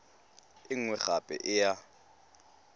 e nngwe gape e ya